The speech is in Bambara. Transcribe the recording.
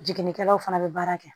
Jiginikɛlaw fana bɛ baara kɛ